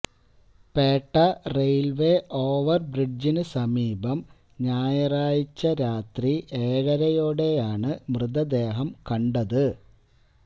Pettah railway ഒാവർബ്രിഡ്ജിന് സമീപം ഞായറാഴ്ച രാത്രി ഏഴരയോടെയാണ് മൃതദേഹം കണ്ടത്